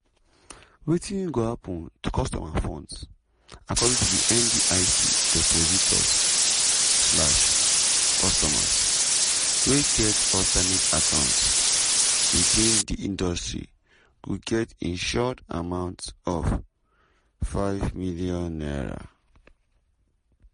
wetin go happun to customer funds according to ndic depositors (customers) wey get ‘alternate account within di industry’ go get insured amount of n5 million.